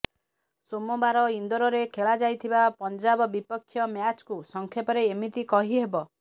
ସୋମବାର ଇନ୍ଦୋରରେ ଖେଳାଯାଇଥିବା ପଞ୍ଜାବ ବିପକ୍ଷ ମ୍ୟାଚ୍କୁ ସଂକ୍ଷେପରେ ଏମିତି କହିହେବ